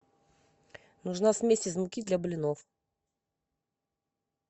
нужна смесь из муки для блинов